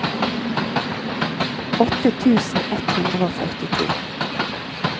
åtte tusen ett hundre og førtito